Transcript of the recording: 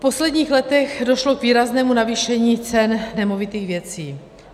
V posledních letech došlo k výraznému navýšení cen nemovitých věcí.